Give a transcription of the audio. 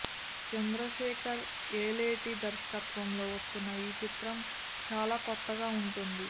చంద్రశేఖర్ యేలేటి దర్శకత్వంలో వస్తున్న ఈ చిత్రం చాలా కొత్తగా ఉంటుంది